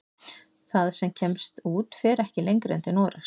Það sem kemst út fer ekki lengra en til Noregs.